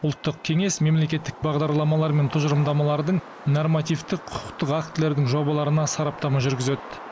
ұлттық кеңес мемлекеттік бағдарламалар мен тұжырымдамалардың нормативтік құқықтық актілердің жобаларына сараптама жүргізеді